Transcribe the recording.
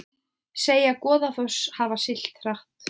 Segja Goðafoss hafa siglt hratt